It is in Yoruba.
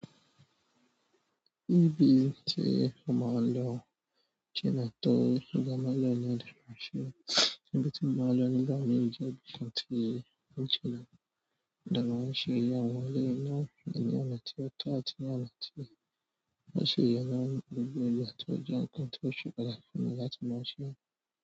Ibi tí mo máa ń lọ tí a tó ń dá máa lọ ni òdò Àkòsẹ́. Nibiti mo máa ń lọ nígbà mìíràn jẹ́ ibi tí ó ti lára. Òdò Àkòsẹ́ yẹ àwọn ilé náà pẹ̀lú àti ọ̀tọ̀ àti àlátì. Ó ṣe yẹ kí wọ́n gbé ọjà tó jẹ́ ohun tí ó ṣe pàtàkì fún mi láti máa ṣe.